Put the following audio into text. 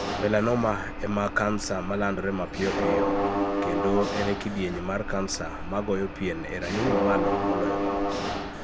Melanoma' ema kansa malandore mapiyo moloyo, kendo en e kidieny mar kansa ma goyo pien e rang'iny mamalo moloyo mamaoko.